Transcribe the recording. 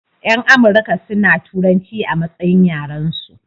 Yan amurka suna turanci a matsayin yaran su